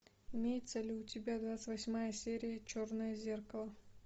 имеется ли у тебя двадцать восьмая серия черное зеркало